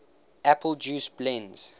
apple juice blends